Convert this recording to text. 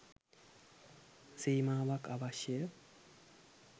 සීමාවක් අවශ්‍ය ය.